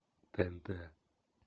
тнт